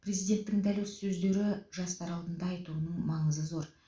президенттің дәл осы сөзді жастар алдында айтуының маңызы зор